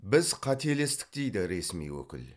біз қателестік дейді ресми өкіл